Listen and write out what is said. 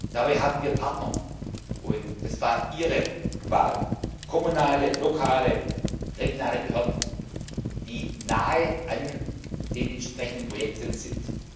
Dabei haben wir Partner das war Ihre Wahl kommunale, lokale, regionale Behörden, die nahe an den entsprechenden Projekten sind.